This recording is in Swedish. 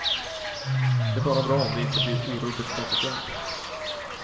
Det är bara bra om det inte blir orubbligt konsekvent.